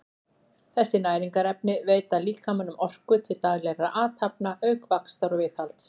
þessi næringarefni veita líkamanum orku til daglegra athafna auk vaxtar og viðhalds